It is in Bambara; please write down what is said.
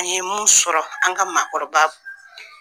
N ye mun sɔrɔ an ka maakɔrɔba